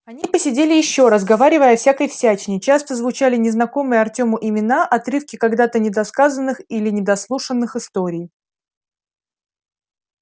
они посидели ещё разговаривая о всякой всячине часто звучали незнакомые артёму имена отрывки когда-то недосказанных или недослушанных историй